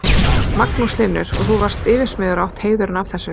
Magnús Hlynur: Og þú varst yfirsmiður og átt heiðurinn af þessu?